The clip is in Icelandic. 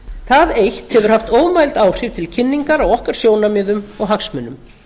það eitt hefur haft ómæld áhrif til kynningar á okkar sjónarmiðum og hagsmunum